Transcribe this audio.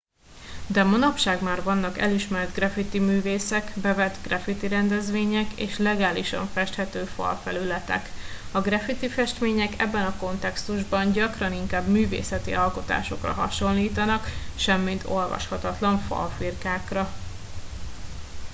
de manapság már vannak elismert graffitiművészek bevett graffitirendezvények és legálisan festhető falfelületek a graffitifestmények ebben a kontextusban gyakran inkább művészeti alkotásokra hasonlítanak semmint olvashatatlan falfirkákra